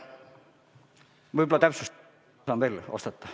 Võib-olla täpsustan veel vastates.